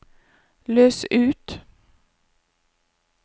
løs ut